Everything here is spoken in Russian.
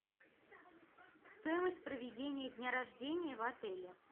стоимость проведения дня рождения в отеле